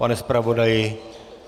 Pane zpravodaji...